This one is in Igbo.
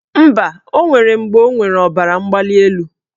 Mba, o nwere mgbe ọ nwere ọbaramgbalịelu.